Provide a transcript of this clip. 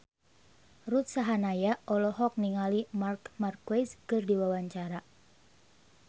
Ruth Sahanaya olohok ningali Marc Marquez keur diwawancara